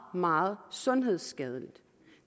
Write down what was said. meget sundhedsskadeligt